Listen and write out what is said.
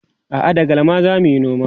a'a da galma zamuyi noman